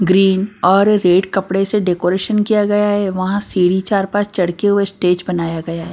Green और red कपड़े से डेकोरेशन किया गया है वहां सीढ़ी चार पांच चढ़के हुए स्टेज बनाया गया है।